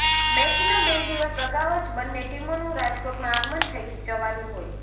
મેચના બે દિવસ અગાઉ જ બંને ટીમોનું રાજકોટમાં આગમન થઈ જવાનું હોય